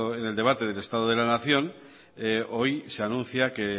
en el debate del estado de la nación hoy se anuncia que